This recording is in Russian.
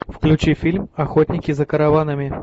включи фильм охотники за караванами